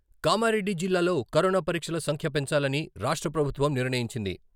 కామారెడ్డి జిల్లాలో కరోనా పరీక్షల సంఖ్య పెంచాలని రాష్ట్ర ప్రభుత్వం నిర్ణయించింది.